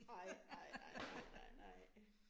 Nej nej nej nej nej nej